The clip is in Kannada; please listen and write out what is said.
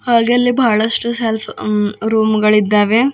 ಹಾಗೆ ಅಲ್ಲಿ ಬಹಳಷ್ಟು ಸೆಲ್ಫ್ ಆಮ್ ರೂಮ್ ಗಳಿದ್ದಾವೆ.